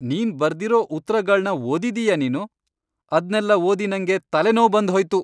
ನೀನ್ ಬರ್ದಿರೋ ಉತ್ರಗಳ್ನ ಓದಿದೀಯಾ ನೀನು? ಅದ್ನೆಲ್ಲ ಓದಿ ನಂಗೆ ತಲೆನೋವ್ ಬಂದ್ಹೋಯ್ತು.